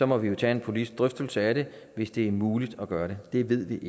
må vi jo tage en politisk drøftelse af det hvis det er muligt at gøre det det ved vi